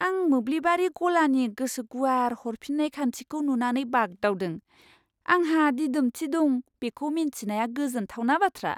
आं मोब्लिबारि गलानि गोसो गुवार हरफिन्नाय खान्थिखौ नुनानै बागदावदों, आंहा दिदोमथि दं बेखौ मिन्थिनाया गोजोनथावना बाथ्रा।